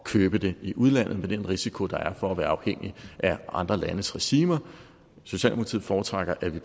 købe det i udlandet med den risiko der er for at være afhængig af andre landes regimer socialdemokratiet foretrækker at vi